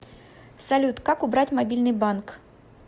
салют как убрать мобильный банк